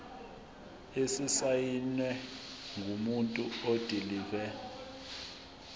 esisayinwe ngumuntu odilive